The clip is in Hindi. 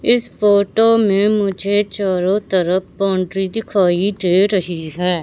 इस फोटो में मुझे चारों तरफ बाउंड्री दिखाई दे रही है।